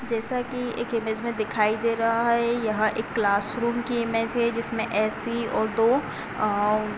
जैसा कि एक इमेज में दिखाई दे रहा है। यहाँ एक क्लास रूम की इमेज है। जिसमें ऐसी